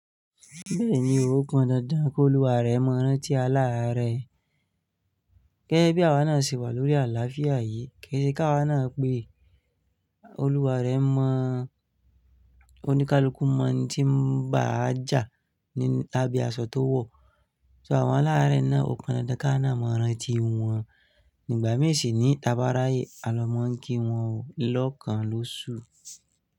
Bẹ́ẹ̀ni, ó pan dandan kólúwà rẹ mọ rántí aláàárẹ̀. Gẹ́gẹ́bí àwa náà ṣe wà lórí àlàáfíà yìí, kí ṣe pé àwa náà pé olúwa rẹ mọ–oníkálukú mọ n tí ń bá a jà ní abí asọ tó wọ̀. So àwọn alare náà o kan dandan káwa náà mọ rántí wọn. Ìgbà míì sì ní ta bá ráyè, a lọ mọ n kí wọn ó lọ́kàn lóṣù.